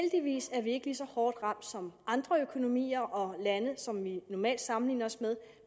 er vi ikke lige så hårdt ramt som andre økonomier og lande som vi normalt sammenligner os med